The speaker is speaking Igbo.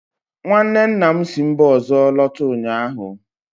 nwanne nna m si mba ọzọ lọta ụnyahụ